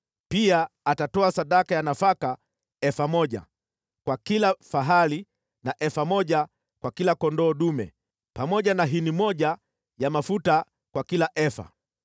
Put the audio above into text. Pia atatoa sadaka ya nafaka efa moja kwa kila fahali na efa moja kwa kila kondoo dume, pamoja na hini moja ya mafuta kwa kila efa.